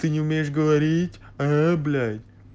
ты не умеешь говорить а блять